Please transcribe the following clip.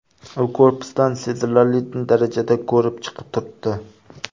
U korpusdan sezilarli darajada bo‘rtib chiqib turibdi.